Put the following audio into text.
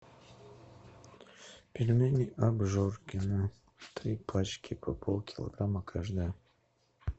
пельмени обжоркино три пачки по полкилограмма каждая